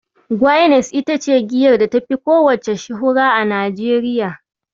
Guinness ita ce giyar da tafi kowacce shuhura a Najeriya.